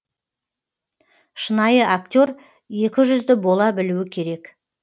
шынайы актер екіжүзді бола білуі керек